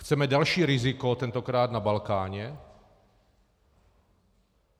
Chceme další riziko, tentokrát na Balkáně?